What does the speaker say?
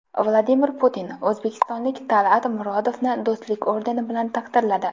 Vladimir Putin o‘zbekistonlik Tal’at Murodovni Do‘stlik ordeni bilan taqdirladi.